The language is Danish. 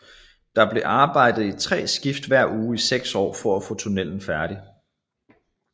Der blev arbejdet i tre skift hver uge i seks år for at få tunnelen færdig